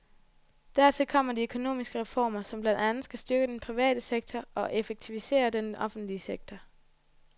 Dertil kommer de økonomiske reformer, som blandt andet skal styrke den private sektor og effektivisere den offentlige sektor.